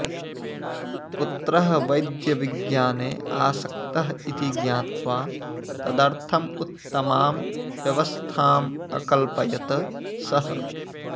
पुत्रः वैद्यविज्ञाने आसक्तः इति ज्ञात्वा तदर्थम् उत्तमां व्यवस्थाम् अकल्पयत् सः